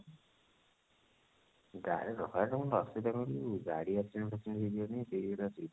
ଗାଡି ରେ ରହିବା ରେ ଅସୁବିଧା କଣ କହିଲୁ ଗାଡି accident ଫାକ୍ସିଡେଣ୍ଟ ହେଇଯିବ ଯଦି ସେଇଗୁଡା risk